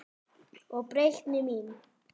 Og breytni mín.